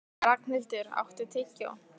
Ragnhildur, áttu tyggjó?